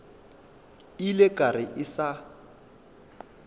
ile ka re ke sa